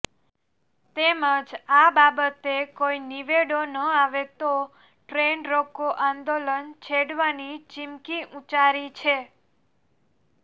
તેમજ આ બાબતે કોઈ નિવેડો ન આવે તો ટ્રેન રોકો આંંદોલન છેડવાની ચીમકી ઉચ્ચારી છે